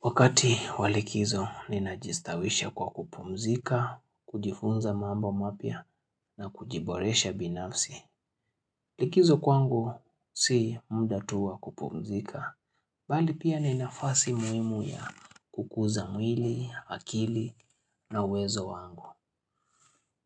Wakati wa likizo, ninajistawisha kwa kupumzika, kujifunza mambo mapya na kujiboresha binafsi. Likizo kwangu, si muda tu wa kupumzika. Bali pia ni nafasi muhimu ya kukuza mwili, akili na uwezo wangu.